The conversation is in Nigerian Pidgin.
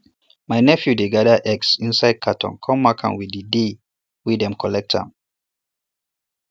my nephew dey gather eggs for inside carton come mark am with di day wey them collect am